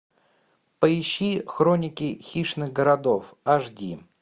поищи хроники хищных городов аш ди